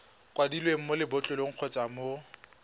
kwadilweng mo lebotlolong kgotsa mo